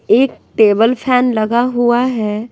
एक table fan लगा हुआ है।